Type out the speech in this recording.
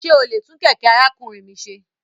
Ṣe o le tun kẹkẹ arakunrin mi ṣe?